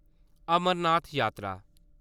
अमरनाथ जात्तरा